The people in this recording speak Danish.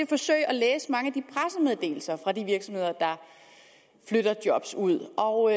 forsøg at læse mange af de pressemeddelelser fra de virksomheder der flytter job ud og